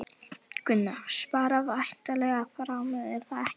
Gunnar: Spara væntanlega fjármuni, er það ekki?